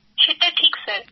সেটা ঠিক স্যার